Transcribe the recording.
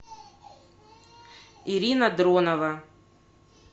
ирина дронова